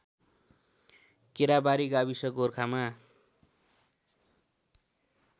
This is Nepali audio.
केराबारी गाविस गोरखामा